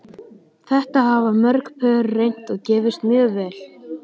Þetta hafa mörg pör reynt og gefist mjög vel.